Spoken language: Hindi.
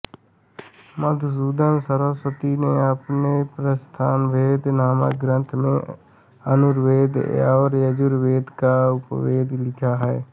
मधुसूदन सरस्वती ने अपने प्रस्थानभेद नामक ग्रंथ में धनुर्वेद को यजुर्वेद का उपवेद लिखा है